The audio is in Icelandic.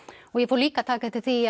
og ég fór líka að taka eftir því